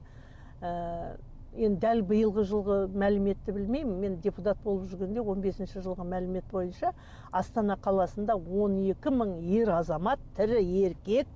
ііі енді дәл биылғы жылғы мәліметті білмеймін мен депутат болып жүргенде он бесінші жылғы мәлімет бойынша астана қаласында он екі мың ер азамат тірі еркек